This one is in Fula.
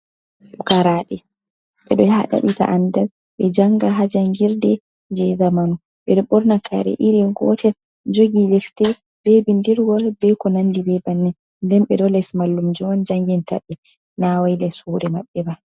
"Pukaraɓe" ɓeɗo yahata daɓɓita andal ɓe janga ha jangirde je zamanu ɓeɗo ɓorni kare iri gotel jogi ɗefte be bindirgol be ko nandi bebannin nden ɓeɗo les mallumjo janginta ɓe na wai les hore mabɓe ba.